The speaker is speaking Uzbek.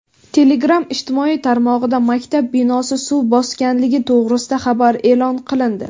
Telegram ijtimoiy tarmog‘ida maktab binosi suv bosganligi to‘g‘risida xabar e’lon qilindi.